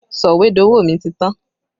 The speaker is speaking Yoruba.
Sọ̀wédowó mi ti tán